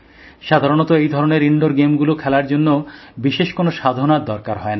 সাধারণত এই ধরনের ইনডোর গেমগুলো খেলার জন্য বিশেষ কোন সাধনার দরকার হয়না